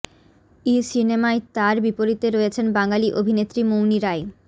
েই সিনেমায় তাঁর বিপরীতে রয়েছেন বাঙালি অভিনেত্রী মৌনি রায়